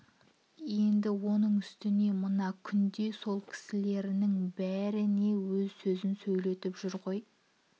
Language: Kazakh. енді оның үстіне мына күнде сол кісілерінің бәріне өз сөзін сөйлетіп жүр ғой